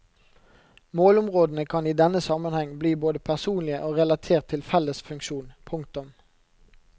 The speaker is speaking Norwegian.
Målområdene kan i denne sammenheng bli både personlige og relatert til felles funksjon. punktum